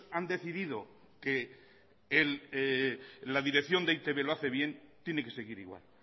han decidido que la dirección de e i te be lo hace bien tiene que seguir igual